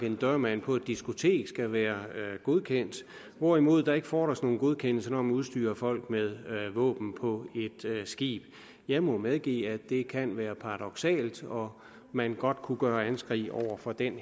en dørmand på et diskotek skal være godkendt hvorimod der ikke fordres nogen godkendelse når man udstyrer folk med våben på et skib jeg må medgive at det kan være paradoksalt og at man godt kunne gøre anskrig over for den